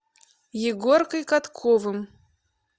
егоркой катковым